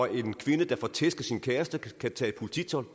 en kvinde der får tæsk af sin kæreste kan tage